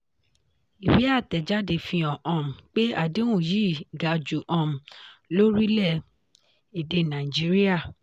ìwé àtẹ̀jáde fi hàn um pé àdéhùn yìí ga jù um lórílẹ̀-èdè nàìjíríà.